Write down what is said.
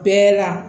Bɛɛ la